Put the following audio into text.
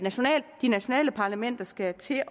de nationale parlamenter skal til at